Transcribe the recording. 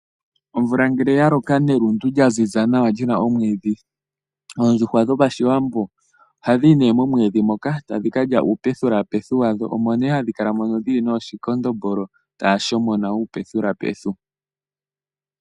Omvula ngele ya loka nelundu lya ziza nawa li na omwiidhi oondjuhwa dhOshiwambo ohadhi yi nduno momwiidhi moka tadhi ka lya uupethipethi wadho, omo nduno hadhi kala dhi li nooshikondombolo taya shomona uupethupethu.